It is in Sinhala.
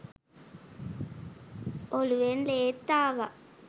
ඔළුවෙන් ලේත් ආවා.